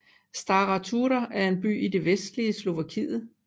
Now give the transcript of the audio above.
Stará Turá er en by i det vestlige Slovakiet